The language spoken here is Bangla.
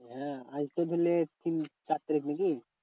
হ্যাঁ আজ তো ধরে নে তিন চার তারিখ নাকি?